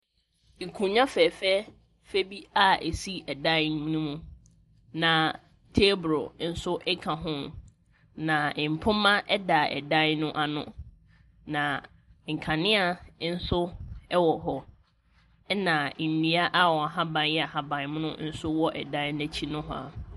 Nkonnwa fɛɛfɛɛfɛ bi a ɛsi ɛdan no mu, na table nso ka ho, na mpoma da dan no ano, na nkanea nso wɔ hɔ, ɛnna nnua a wɔn ahaban yɛ ahaban mono nso wɔ dan no akyi nohoa.